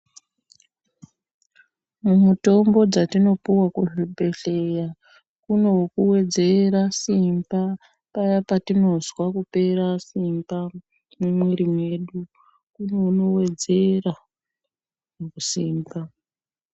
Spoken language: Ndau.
Mumitombo dzatinopihwa kuzvibhehlera kuno wekuwedzera simba ,paye patinozwa kupera simba mumwiri mwedu. Kune unowedzera yaamho.